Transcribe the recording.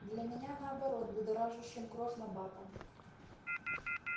для меня наоборот будоражащим кровь набатом